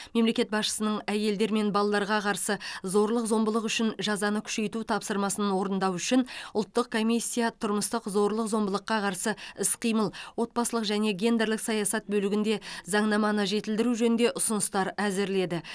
мемлекет басшысының әйелдер мен балаларға қарсы зорлық зомбылық үшін жазаны күшейту тапсырмасын орындау үшін ұлттық комиссия тұрмыстық зорлық зомбылыққа қарсы іс қимыл отбасылық және гендерлік саясат бөлігінде заңнаманы жетілдіру жөнінде ұсыныстар әзірледі